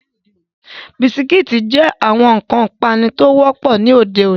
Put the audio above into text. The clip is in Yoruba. Bisikíìtì jẹ́ ọ̀kan lára àwọn nǹkan ipanu tí ó wọ́pọ̀ ní òde-òní.